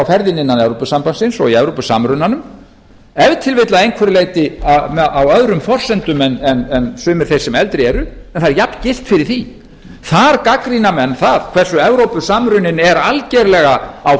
ferðinni innan evrópusambandsins og í evrópusamrunanum ef til vill að einhverju leyti á öðrum forsendum en sumir þeir sem eldri eru en það er jafngilt fyrir því þar gagnrýna menn það hversu evrópusamruninn er algjörlega á